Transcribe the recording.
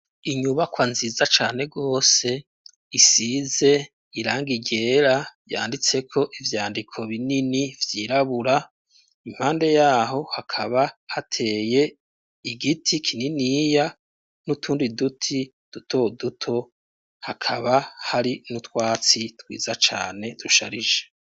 Inyubakwa nziza cane rwose isize iranga ryera yanditse ko ivyandiko binini vyirabura impande yaho hakaba hateye igiti kininiya n'utundi duti duto duto hakaba hari n'utwatsi twiza cane dusharije.